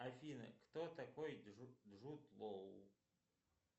афина кто такой джуд лоу